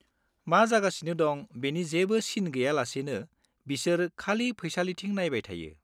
मा जागासिनो दं बेनि जेबो सिन गैयालासेनो बिसोर खालि फैसालिथिं नायबाय थायो।